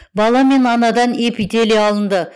бала мен анадан эпителий алынды